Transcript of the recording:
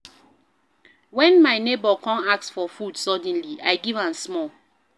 Wen my nebor come ask for food suddenly, I give am small.